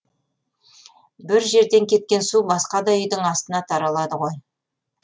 бір жерден кеткен су басқа да үйдің астына таралады ғой